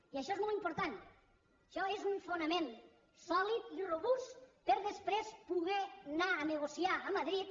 i això és molt important això és un fonament sòlid i robust per després poder anar a negociar a madrid